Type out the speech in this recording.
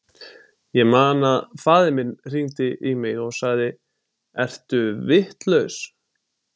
Ég man að faðir minn hringdi í mig og sagði, ertu vitlaus?